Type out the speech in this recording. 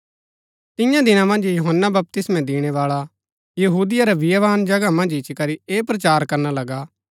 तियां दिना मन्ज यूहन्‍ना बपतिस्मा दिणैबाळा यहूदिया रै बियावान जगह मन्ज इच्ची करी ऐह प्रचार करना लगा